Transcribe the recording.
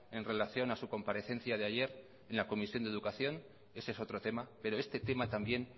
en relación a su comparecencia de ayer en la comisión de educación ese es otro tema pero este tema también